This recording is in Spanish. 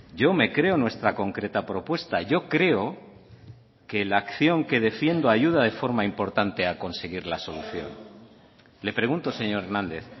yo me creo nuestra concreta propuesta yo creo que la acción que defiendo ayuda de forma importante a conseguir la solución le pregunto señor hernández